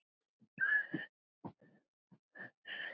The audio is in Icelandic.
Hvolp, svaraði Emil.